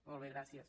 molt bé gràcies